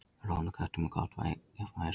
Rófan á köttum er gott jafnvægistæki.